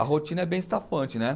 A rotina é bem estafante, né?